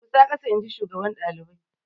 Durƙusa ƙasa inji shugaban daliban.